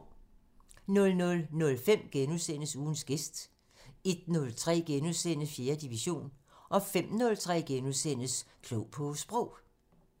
00:05: Ugens gæst * 01:03: 4. division * 05:03: Klog på Sprog *